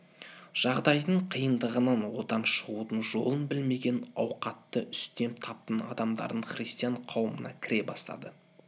жағдайдың қиындығынан одан шығудың жолын білмеген ауқатты үстем таптың адамдары христиан қауымына кіре бастады